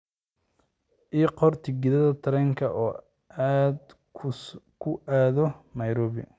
ii qor tigidh tareen oo aad ku aado nairobi